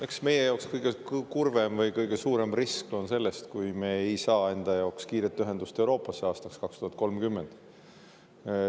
Eks meie jaoks kõige kurvem oleks või kõige suurem risk on see, et me ei saa kiiret ühendust Euroopaga aastaks 2030.